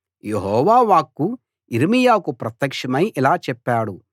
యెహోవా వాక్కు యిర్మీయాకు ప్రత్యక్షమై ఇలా చెప్పాడు